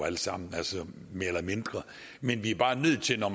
alle sammen mere eller mindre men vi er bare nødt til når